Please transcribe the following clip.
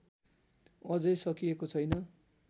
अझै सकिएको छैन्